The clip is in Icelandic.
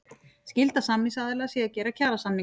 Skylda samningsaðila sé að gera kjarasamninga